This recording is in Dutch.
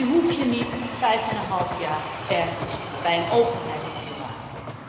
Dus die hoef je niet vijfeneenhalf jaar ergens bij een overheid te bewaren.